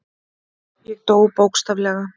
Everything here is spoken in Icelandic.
Ég dó, bókstaflega.